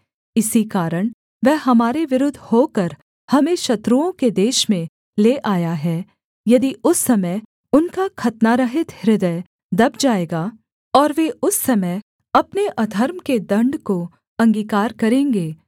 इसी कारण वह हमारे विरुद्ध होकर हमें शत्रुओं के देश में ले आया है यदि उस समय उनका खतनारहित हृदय दब जाएगा और वे उस समय अपने अधर्म के दण्ड को अंगीकार करेंगे